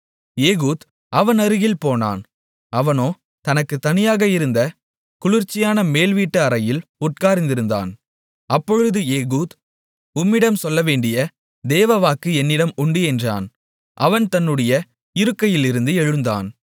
Ehud அவன் அருகில் போனான் அவனோ தனக்குத் தனியாக இருந்த குளிர்ச்சியான மேல் வீட்டு அறையில் உட்கார்ந்திருந்தான் அப்பொழுது ஏகூத் உம்மிடம் சொல்லவேண்டிய தேவ வாக்கு என்னிடம் உண்டு என்றான் அவன் தன்னுடைய இருக்கையிலிருந்து எழுந்தான்